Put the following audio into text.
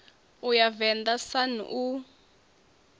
u ya venḓa sun u